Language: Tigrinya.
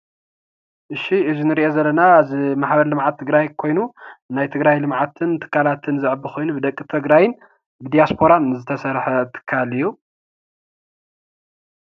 እሺ እዚ ንሪኦ ዘለና ማሕበር ልምዓት ትግራይ ኮይኑ ናይ ትግራይ ልምዓትን ትካላትን ዘዕቢ ኮይኑ ብደቂ ትግራይን ብዲያስፖራን ዝተሰርሐ ትካል እዩ።